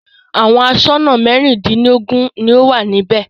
Àwọn aṣọ́nà mẹ́rìndínlógún ni ó wà níbẹ̀.